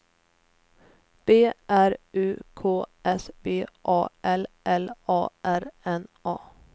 B R U K S V A L L A R N A